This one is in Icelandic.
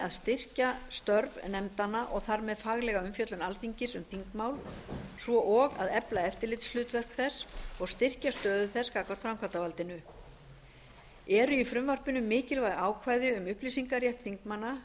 að styrkja störf nefndanna og þar með faglega umfjöllun alþingis um þingmál svo og að efla eftirlitshlutverk þess og styrkja stöðu þess gagnvart framkvæmdarvaldinu eru í frumvarpinu mikilvæg ákvæði um upplýsingarétt þingmanna